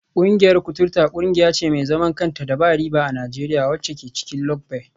Kungiyar kuturta kungiya ce mai zaman kanta da ba riba a Najeriya, wacce ke cikin lugbe.